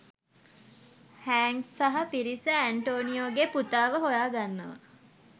හැන්ක් සහා පිරිස ඇන්ටෝනියෝගේ පුතාව හොයා ගන්නවා.